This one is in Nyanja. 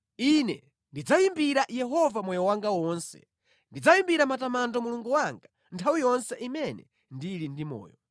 Ine ndidzayimbira Yehova moyo wanga wonse; ndidzayimbira matamando Mulungu wanga nthawi yonse imene ndili ndi moyo.